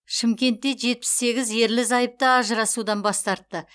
шымкентте жетпіс сегіз ерлі зайыпты ажырасудан бас тартты